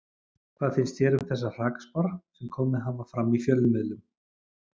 Hvað finnst þér um þessar hrakspár sem komið hafa fram í fjölmiðlum?